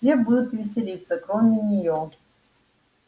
все будут веселиться кроме неё